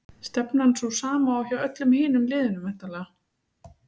Stefnan sú sama og hjá öllum hinum liðunum væntanlega?